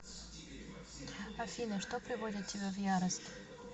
афина что приводит тебя в ярость